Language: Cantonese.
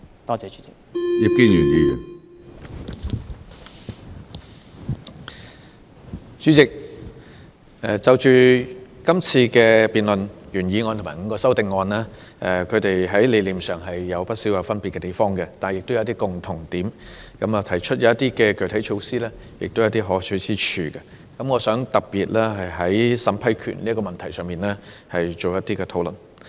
主席，是項辯論所涉及的原議案和5個修正案，在理念上有不少分別，但亦有一些共通點，所提出的一些具體措施也有可取之處。我想特別就審批權這問題作一討論。